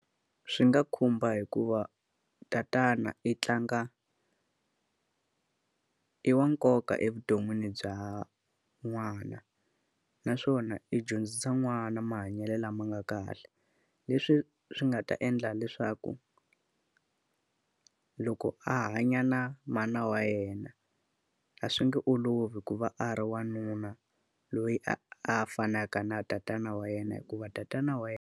Swi nga khumba hikuva tatana i tlanga i wa nkoka evuton'wini bya n'wana, naswona i dyondzisa n'wana mahanyelo lama nga kahle. leswi swi nga ta endla leswaku, loko a hanya na mana wa yena a swi nge olovi ku va a ri wanuna loyi a a fanaka na tatana wa yena hikuva tatana wa .